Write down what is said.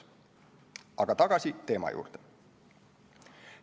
Aga tagasi teema juurde.